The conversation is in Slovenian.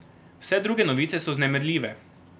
Vse druge novice so vznemirljive.